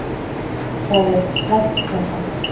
Það er slæmt samband.